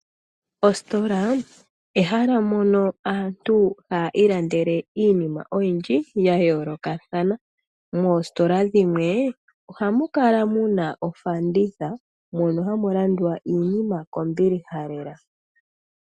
Ositola ehala mono aantu haya ilandele iinima oyindji yayoolokathana. Moositola dhimwe, ohamu kala mu na ofanditha mono hamu landwa iinima kombiliha lela.